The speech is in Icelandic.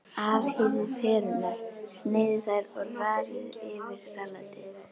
Afhýðið perurnar, sneiðið þær og raðið yfir salatið.